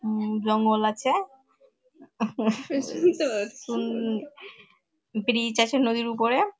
উমম জঙ্গল আছে। উম ব্রীজ আছে নদীর উপরে।